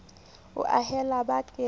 o a haella ba ke